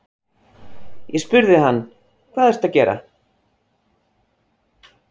Ég spurði hann: Hvað ertu að gera?